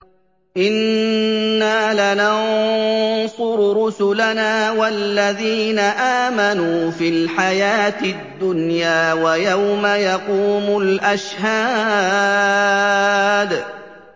إِنَّا لَنَنصُرُ رُسُلَنَا وَالَّذِينَ آمَنُوا فِي الْحَيَاةِ الدُّنْيَا وَيَوْمَ يَقُومُ الْأَشْهَادُ